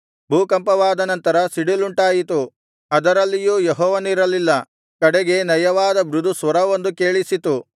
ಭೂಕಂಪವಾದ ನಂತರ ಸಿಡಿಲುಂಟಾಯಿತು ಅದರಲ್ಲಿಯೂ ಯೆಹೋವನಿರಲಿಲ್ಲ ಕಡೆಗೆ ನಯವಾದ ಮೃದು ಸ್ವರವೊಂದು ಕೇಳಿಸಿತು